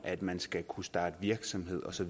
at man skal kunne starte virksomhed og så